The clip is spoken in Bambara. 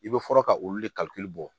I bɛ fɔlɔ ka olu de bɔ